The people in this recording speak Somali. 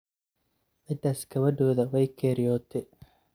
Cidhas gawadhoda way keryote.